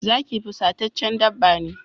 Zaki fusataccen dabba ne.